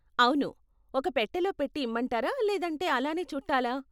అవును, ఒక పెట్టెలో పెట్టి ఇమ్మంటారా లేదంటే అలానే చుట్టాలా?